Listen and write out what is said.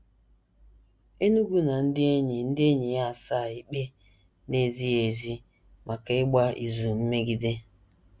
Enugu na ndị enyi ndị enyi ya asaa ikpe na - ezighị ezi maka ịgba izu mmegide.